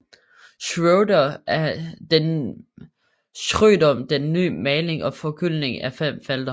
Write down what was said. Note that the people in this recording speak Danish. Schrøder den med ny maling og forgyldning af fem felter